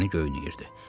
Bədəni göynəyirdi.